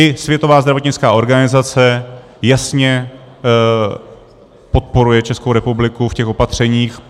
I Světová zdravotnická organizace jasně podporuje Českou republiku v těch opatřeních.